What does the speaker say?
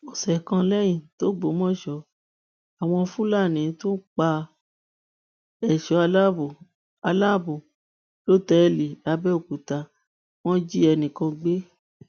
ọsẹ kan lẹyìn tògbómọṣọ àwọn fúlàní tún pa èso aláàbọ aláàbọ lọtẹẹlì lápẹòkúta wọn wọn jí ẹnì kan gbé